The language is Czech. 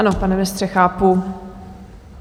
Ano, pane ministře, chápu.